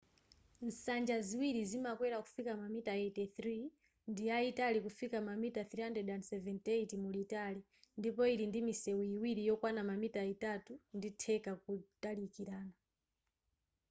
nsanja ziwiri zimakwera kufika mamita 83 ndiyayitali kufika mamita 378 mulitali ndipo ili ndi misewu iwiri yokwana mamita itatu nditheka kutalikana